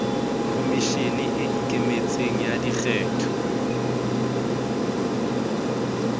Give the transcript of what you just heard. khomishene e ikemetseng ya dikgetho